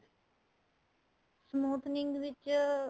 smoothing ਵਿੱਚ